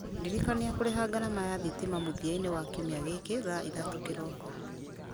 ndirikania kũrĩha ngarama ya thitima mũthia-inĩ wa kiumia gĩkĩ thaa ithatũ kĩroko